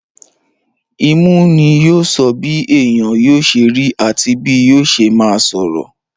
Imú ni yóò sọ bí èèyàn yóò sẹ rí àti bí yóò ṣe máa sọ̀rọ̀.